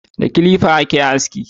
Da kilifa a ke haski